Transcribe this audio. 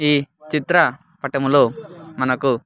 ఈ చిత్ర పటములో మనకు.